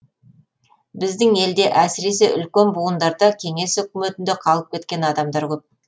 біздің елде әсіресе үлкен буындарда кеңес үкіметінде қалып кеткен адамдар көп